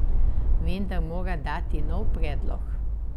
Vendar mora dati nov predlog.